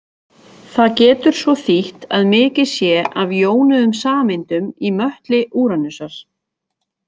Það getur svo þýtt að mikið sé af jónuðum sameindum í möttli Úranusar.